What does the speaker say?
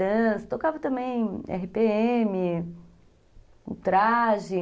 tocava também erre pê eme, o Traje.